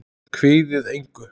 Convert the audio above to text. Kvíðið engu!